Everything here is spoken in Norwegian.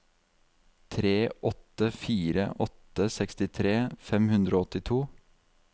tre åtte fire åtte sekstitre fem hundre og åttito